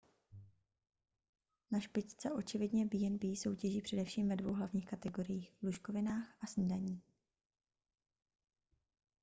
na špičce očividně b&b soutěží především ve dvou hlavních kategoriích lůžkovinách a snídani